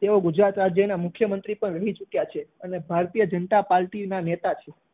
તેઓ ગુજરાત રાજ્ય ના મુખ્યમન્ત્રી પણ રહી ચુક્યા છે અને ભારતીય જનતા પાર્ટી ના નેતા